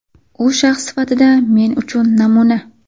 U shaxs sifatida men uchun namuna.